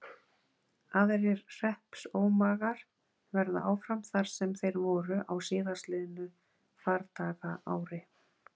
Aðrir hreppsómagar verða áfram þar sem þeir voru á síðastliðnu fardagaári.